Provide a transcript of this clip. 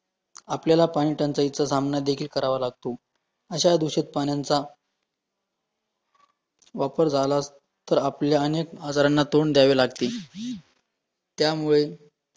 आपल्याला पाणीटंचाईचा सामनादेखील करावा लागतो, अशा दुषित पाण्यांचा, वापर झाला तर आपल्या अनेक आजारांना तोंड द्यावे लागतील , त्यामुळे